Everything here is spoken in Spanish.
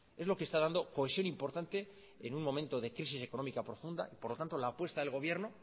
es lo que está dando cohesión importante en un momento de crisis económica profunda por lo tanto la apuesta del gobierno